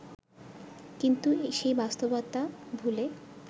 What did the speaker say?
কিন্তু সেই বাস্তবতা ভুলে